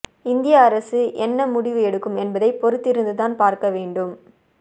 இந்திய அரசு என்ன முடிவு எடுக்கும் என்பதை பொறுத்திருந்துதான் பார்க்க வேண்டும்